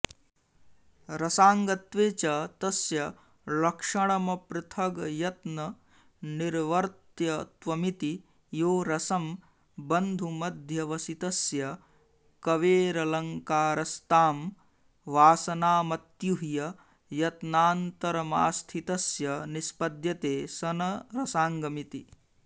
रसाङ्गत्वे च तस्य लक्षणमपृथग्यत्ननिर्वर्त्यत्वमिति यो रसं बन्धुमध्यवसितस्य कवेरलङ्कारस्तां वासनामत्यूह्य यत्नान्तरमास्थितस्य निष्पद्यते स न रसाङ्गमिति